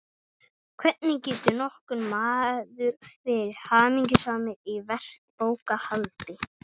hvernig getur nokkur maður verið hamingjusamur í verkbókhaldi.